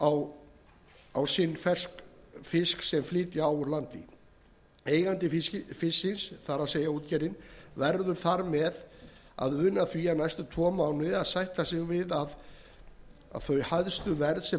á sinn ferskfisk sem flytja á úr landi eigandi fisksins það er útgerðin verður þar með að una því næstu tvo mánuðina að sætta sig við hæsta verð sem